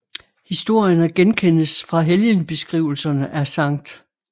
Historierne genkendes fra helgenbeskrivelserne af Skt